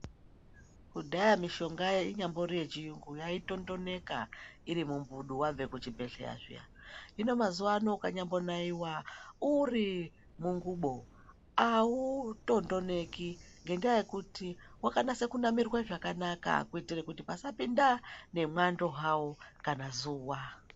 Kudhaya mishongayo inyamvori yevhiyungu yaitondoneka iri mumbudu wabve kuvhibhedhleya zviya hino mazuwa ano ukanyambonaiwa uri munhlubo awutondoneki ngendaa yekuti wakanase kunamirwa zvakanaka kuitira kuti pasapinda nemwando hawo kana zuwa.